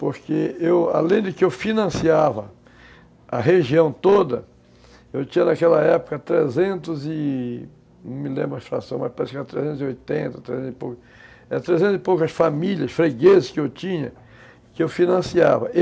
porque eu, além de que eu financiava a região toda, eu tinha naquela época trezentos e... não me lembro a situação, mas parece que eram trezentos e oitenta, trezentos e poucas, trezentos e poucas famílias fregueses que eu tinha, que eu financiava.